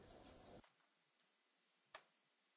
Sehr geehrter Herr Präsident Tajani,